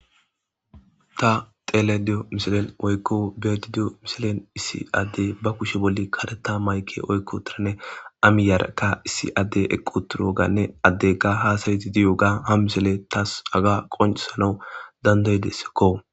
Ta telediyo mishilen oykko beedidiyo misilen issi addey ba kushe bolli kareta mayke oykko tiranne amiyaraka issi addey eqqu turo ganne addega haasayiti diyo ga ha misele taas aga qonesanau dandayidesekko.